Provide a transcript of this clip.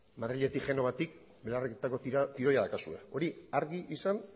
madriletik genovatik belarrietako tiroia daukazue hori argi izan